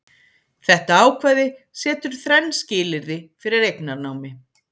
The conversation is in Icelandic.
Þetta ákvæði setur þrenn skilyrði fyrir eignarnámi.